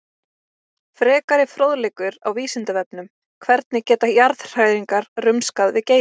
Frekari fróðleikur á Vísindavefnum: Hvernig geta jarðhræringar rumskað við Geysi?